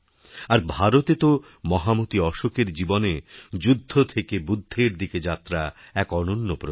আর ভারতে তো মহামতি অশোকের জীবনে যুদ্ধ থেকে বুদ্ধেরদিকে যাত্রা এক অনন্য প্রতীক